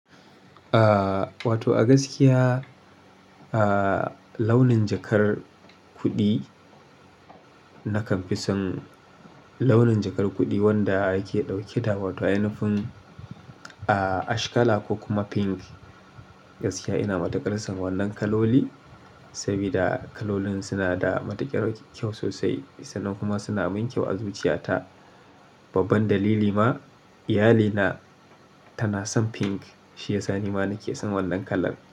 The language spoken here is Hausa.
Ah, wato a gaskiya, ah launin jakar kuɗi nakan fi son launin jakar kuɗi wanda yake ɗauke da wato ainafin ah ash kala ko kuma pink. Gaskiya ina matuƙar son wannan kaloli, sabida kalolin suna da matuƙar kyau sosai, sannan kuma suna min kyau a zuciyata. Babban dalili ma, iyalina tana son pink shiyasa ni ma nake son wannan kalan.